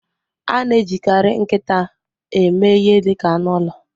A na-ejikarị nkịta eme ihe dị ka anụ ụlọ.